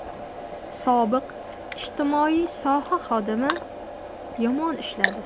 Sobiq ijtimoiy soha xodimi yomon ishladi.